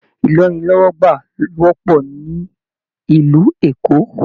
Ìlọ́nilọ́wọ́gbà wọ́pọ̀ ní ìlú Èkó